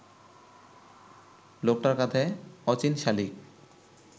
লোকটার কাঁধে অচিন শালিক